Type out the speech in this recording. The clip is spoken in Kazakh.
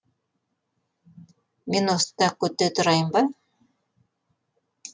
мен осында күте тұрайын ба